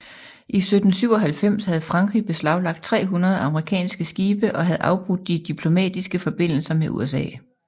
I 1797 havde Frankrig beslaglagt 300 amerikanske skibe og havde afbrudt de diplomatiske forbindelser med USA